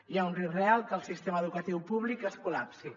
hi ha un risc real que el sistema educatiu públic es col·lapsi